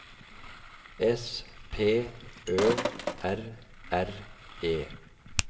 S P Ø R R E